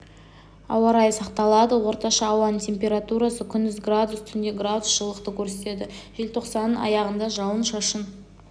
ауа райы сақталады орташа ауаның температурасы күндіз градус түнде градус жылылықты көрсетеді желтоқсанның аяғында жауын-шашын